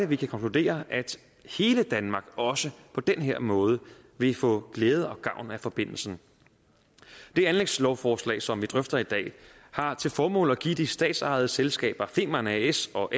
vi konkludere at hele danmark også på den her måde vil få glæde og gavn af forbindelsen det anlægslovforslag som vi drøfter i dag har til formål at give de statsejede selskaber femern as og